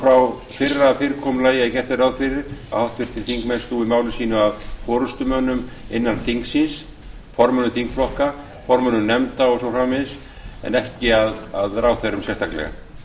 frá fyrra fyrirkomulagi að gert er ráð fyrir að háttvirtir þingmenn snúi máli sínu að forustumönnum innan þingsins formönnum þingflokka formönnum nefnda og svo framvegis en ekki að ráðherrum sérstaklega